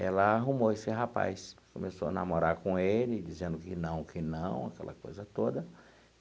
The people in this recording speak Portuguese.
Ela arrumou esse rapaz, começou a namorar com ele, dizendo que não, que não, aquela coisa toda.